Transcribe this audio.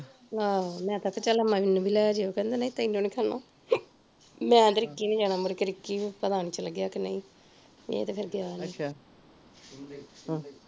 ਆਹੋ ਮੈਂ ਤੇ ਆਖਿਆ ਵੀ ਚੱਲ ਮੈਨੂੰ ਵੀ ਲੇਜੀਓ ਕਹਿੰਦਾ ਨਹੀਂ ਤੇਨੂੰ ਨੀ ਖੜਨਾ ਮੈਂ ਤੇ ਰਿਕੀ ਨੇ ਜਾਣਾ ਮੁੜ ਕੇ ਰਿਕੀ ਪਤਾ ਨੀ ਚੱਲ ਗਿਆ ਕਿ ਨਹੀਂ ਏ ਤੇ ਫਿਰ ਗਿਆ ਨੀ